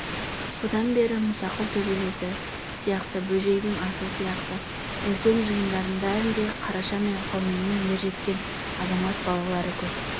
содан бері мұсақұл төбелесі сияқты бөжейдің асы сияқты үлкен жиындардың бәрінде қараша мен қауменнің ержеткен азамат балалары көп